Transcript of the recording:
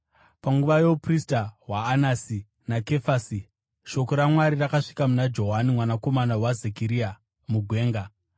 panguva youprista hwaAnasi naKefasi, shoko raMwari rakasvika kuna Johani mwanakomana waZekaria mugwenga.